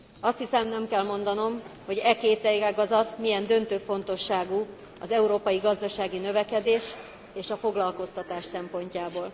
Azt hiszem, nem kell mondanom, hogy e két ágazat milyen döntő fontosságú az európai gazdasági növekedés és a foglalkoztatás szempontjából.